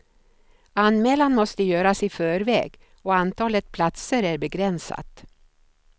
Anmälan måste göras i förväg och antalet platser är begränsat.